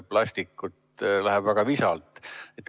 See läheb väga visalt.